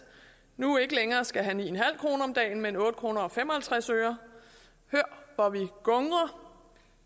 nu ikke længere skal have ni kroner om dagen men otte kroner hør hvor vi gungrer